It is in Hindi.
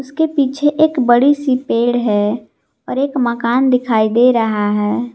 के पीछे एक बड़ी सी पेड़ है और एक मकान दिखाई दे रहा है।